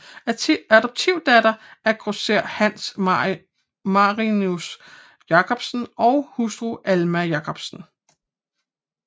Adoptivdatter af grosserer Hans Marinus Jacobsen og hustru Alma Jacobsen